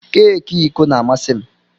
Keki iko na-amasị m.